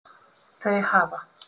Þau hafa